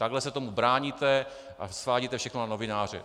Takhle se tomu bráníte a svádíte všechno na novináře.